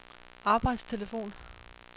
arbejdstelefon